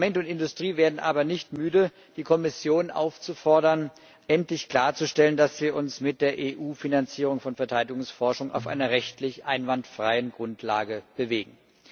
Parlament und Industrie werden aber nicht müde, die Kommission aufzufordern, endlich klarzustellen, dass wir uns mit der EU Finanzierung von Verteidigungsforschung auf einer rechtlich einwandfreien Grundlage bewegen.